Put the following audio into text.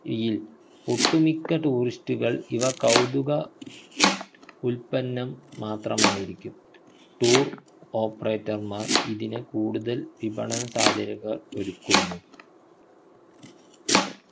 യിൽ ഒട്ടുമിക്ക tourist കൾ ഇവ കൗതുക ഉൽപ്പന്നം മാത്രമായിരിക്കും tour operator മാർ ഇതിനെ കൂടുതൽ വിപണന സാധ്യതകൾ ഒരുക്കുന്നു